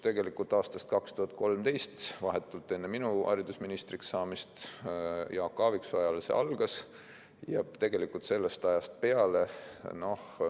Tegelikult aastal 2013, vahetult enne minu haridusministriks saamist, Jaak Aaviksoo ajal see algas ja sellest ajast peale.